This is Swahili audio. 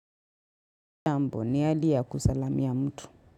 Jambo, ni ahadi kusalamia mtu.